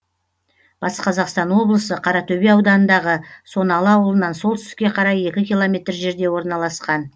батыс қазақстан облысы қаратөбе ауданындағы соналы аулынан солтүстікке қарай екі километр жерде орналасқан